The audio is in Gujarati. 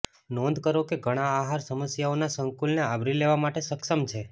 નોંધ કરો કે ઘણા આહાર સમસ્યાઓના સંકુલને આવરી લેવા માટે સક્ષમ છે